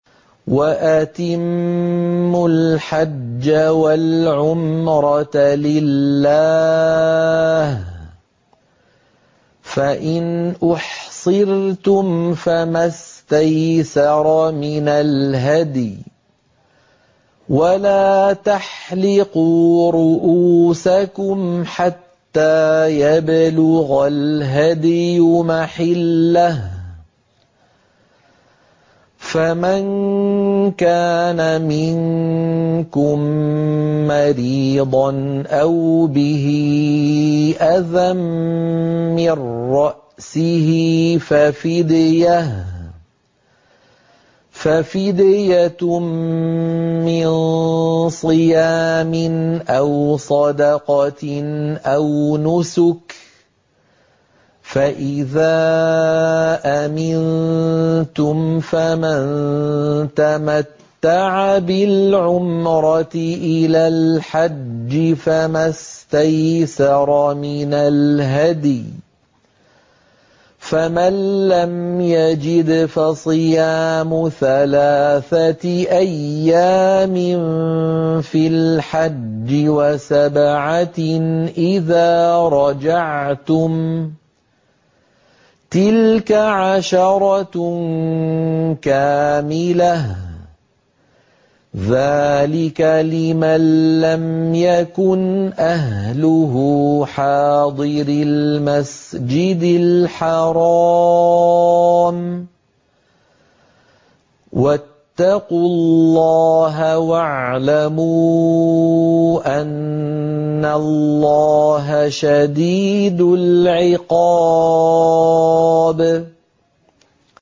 وَأَتِمُّوا الْحَجَّ وَالْعُمْرَةَ لِلَّهِ ۚ فَإِنْ أُحْصِرْتُمْ فَمَا اسْتَيْسَرَ مِنَ الْهَدْيِ ۖ وَلَا تَحْلِقُوا رُءُوسَكُمْ حَتَّىٰ يَبْلُغَ الْهَدْيُ مَحِلَّهُ ۚ فَمَن كَانَ مِنكُم مَّرِيضًا أَوْ بِهِ أَذًى مِّن رَّأْسِهِ فَفِدْيَةٌ مِّن صِيَامٍ أَوْ صَدَقَةٍ أَوْ نُسُكٍ ۚ فَإِذَا أَمِنتُمْ فَمَن تَمَتَّعَ بِالْعُمْرَةِ إِلَى الْحَجِّ فَمَا اسْتَيْسَرَ مِنَ الْهَدْيِ ۚ فَمَن لَّمْ يَجِدْ فَصِيَامُ ثَلَاثَةِ أَيَّامٍ فِي الْحَجِّ وَسَبْعَةٍ إِذَا رَجَعْتُمْ ۗ تِلْكَ عَشَرَةٌ كَامِلَةٌ ۗ ذَٰلِكَ لِمَن لَّمْ يَكُنْ أَهْلُهُ حَاضِرِي الْمَسْجِدِ الْحَرَامِ ۚ وَاتَّقُوا اللَّهَ وَاعْلَمُوا أَنَّ اللَّهَ شَدِيدُ الْعِقَابِ